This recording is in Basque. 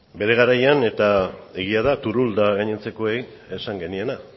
bere garian eta egia da turull eta gainontzekoei esan geniena